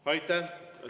Aitäh!